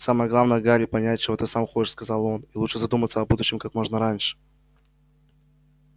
самое главное гарри понять чего ты сам хочешь сказал он и лучше задуматься о будущем как можно раньше